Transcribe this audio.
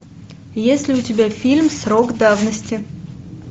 есть ли у тебя фильм срок давности